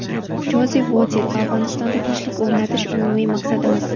Jozef Votel: Afg‘onistonda tinchlik o‘rnatish – umumiy maqsadimiz.